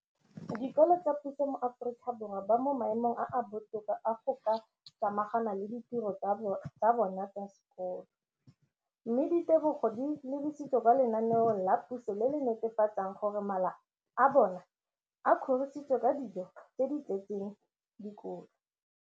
Dikolo tsa puso mo Aforika Borwa ba mo maemong a a botoka a go ka samagana le ditiro tsa bona tsa sekolo, mme ditebogo di lebisiwa kwa lenaaneng la puso le le netefatsang gore mala a bona a kgorisitswe ka dijo tse di tletseng dikotla.